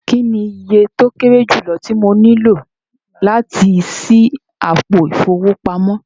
Kíni ìyẹ̀ tó kẹ̀rè júlọ̀ tí mọ níló láti ṣí àpò ifowópamọ̀?